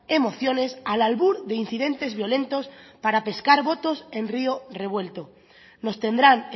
emociones al albur de incidentes violentos para pescar votos en rio revuelto nos tendrán